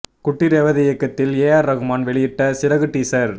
குட்டி ரேவதி இயக்கத்தில் ஏ ஆர் ரஹ்மான் வெளியிட்ட சிறகு டீஸர்